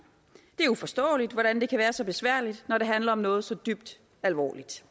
er uforståeligt hvordan det kan være så besværligt når det handler om noget så dybt alvorligt